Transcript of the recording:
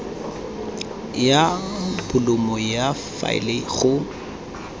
ya bolumo ya faele go